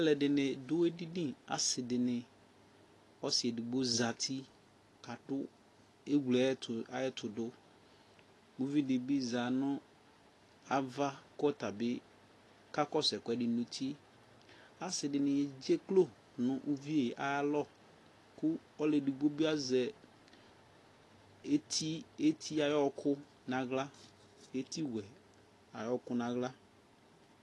alʋɛdini dʋɛdini, asii dini, ɔsii ɛdigbɔ zati kadʋ ɛwlɛ ayɛtʋ dʋ, ʋvi dibi zanʋ aɣa kʋ ɔtabi kakɔsʋ ɛkʋɛdi nʋ ʋti, asii dini ɛdzɛklɔ nʋ ʋviɛ ayialɔ kʋ ɔlʋ ɛdigbɔ bi azɛ ɛti ayi ɔkʋ nʋ ala, ɛti wɛ ayi ɔkʋ nʋ ala